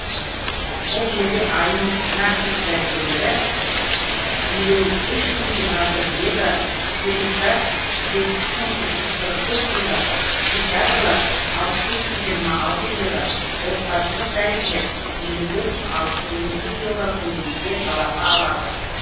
бұл елде айына тіс дәрігерлері елу үш мың жиырма бір еуро хирургтар жетпіс мың қырық төрт еуро психиатрлар алпыс үш мың жиырма алты еуро отбасылық дәрігерлер елу төрт мың алты жүз он екі еуро көлемінде жалақы алады